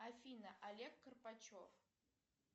афина олег карпачев